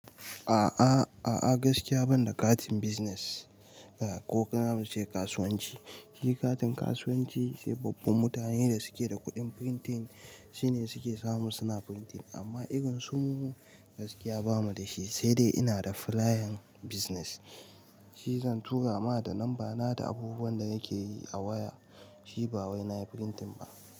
A'a, a'a gaskiya ban da katin business, ah ko kana ce kasuwanci. Shi katin kasuwanci sai babban mutane da suke da kuɗin printing sune suke samu suna printing amma irin su mu gaskiya bamu da shi. Sai dai ina da flayan business shi zan tura ma ta number na da abubuwan da nake yi a waya shi ba wai na printing ba.